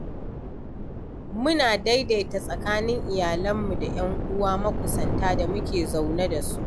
Muna daidaita tsakanin iyalanmu da 'yan uwa makusanta da muke zaune da su.